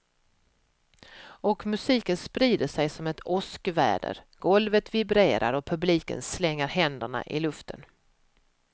Och musiken sprider sig som ett åskväder, golvet vibrerar och publiken slänger händerna i luften.